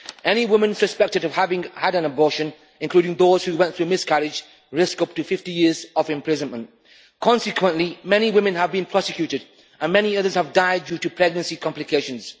Any woman suspected of having had an abortion, including those who went through miscarriage, risk up to 50 years of imprisonment. Consequently, many women have been prosecuted and many others have died due to pregnancy complications.